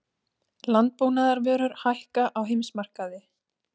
Landbúnaðarvörur hækka á heimsmarkaði